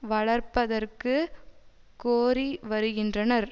வளர்ப்பதற்கு கோரி வருகின்றனர்